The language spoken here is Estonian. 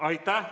Aitäh!